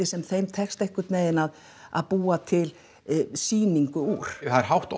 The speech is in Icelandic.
sem þeim tekst einhvern veginn að að búa til sýningu úr það er hátt